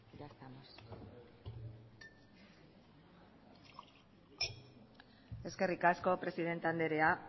eskerrik asko presidente anderea